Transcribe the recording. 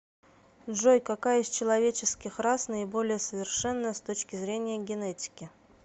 джой какая из человеческих рас наиболее совершенная с точки зрения генетики